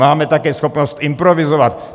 Máme také schopnost improvizovat.